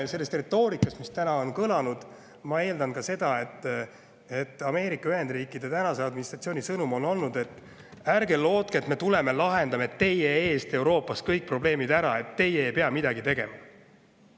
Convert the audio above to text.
Selle retoorika põhjal, mis täna on kõlanud, ma pigem eeldan seda, et Ameerika Ühendriikide administratsiooni sõnum on see, et me ei loodaks, et nad tulevad ja lahendavad meie eest Euroopas kõik probleemid ära ja me ei pea midagi tegema.